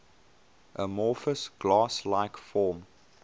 amorphous glass like form